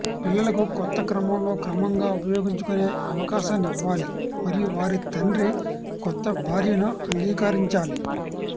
పిల్లలకు కొత్త క్రమంలో క్రమంగా ఉపయోగించుకునే అవకాశాన్ని ఇవ్వాలి మరియు వారి తండ్రి కొత్త భార్యను అంగీకరించాలి